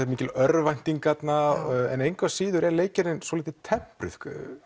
mikil örvænting þarna en engu að síður er leikgerðin svolítið tempruð